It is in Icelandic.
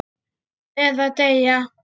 Eða deyja.